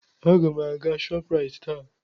Aga m aga Shọpraịt taa.